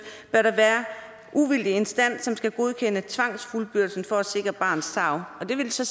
bør der være uvildig instans som skal godkende tvangsfuldbyrdelsen for at sikre barnets tarv det vil så